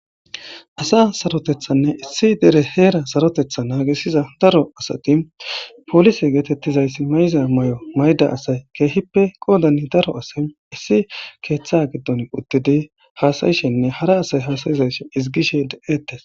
asa sarotethanne issi dere heera sarotetha naagesiza daro asati polise geetettizayssi may7iza may7o mayda asay keehippe qoodani daro asay issi keeththa giddon uddidi haasayishenne hara asay hasayizayshe ezigishe deeettes